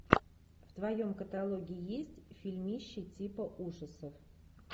в твоем каталоге есть фильмище типа ужасов